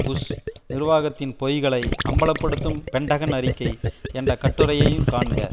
push நிர்வாகத்தின் பொய்களை அம்பலப்படுத்தும் பென்டகன் அறிக்கை என்ற கட்டுரையையும் காண்க